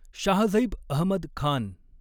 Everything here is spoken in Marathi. शाहझैब अहमद खान